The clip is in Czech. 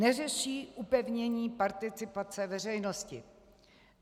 Neřeší upevnění participace veřejnosti.